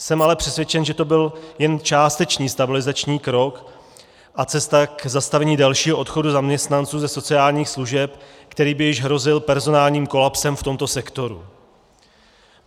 Jsem ale přesvědčen, že to byl jen částečný stabilizační krok a cesta k zastavení dalšího odchodu zaměstnanců ze sociálních služeb, který by již hrozil personálním kolapsem v tomto sektoru.